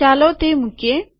ચાલો તે મુકીએ